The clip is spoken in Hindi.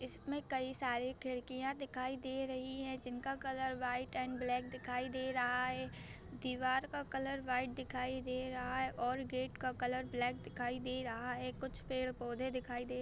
इस में कई सारी खिड़कीया दिखाई दे रही है जिनका कलर वाइट एंड ब्लैक दिखाई दे रहा है दिवार का कलर वाइट दिखाई रहा हे और गेट का कलर ब्लैक दिखाई दे रहा हैं। कुछ पेड़-पोधे दिखाई दे --